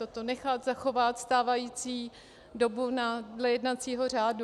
Toto nechat, zachovat stávající dobu dle jednacího řádu.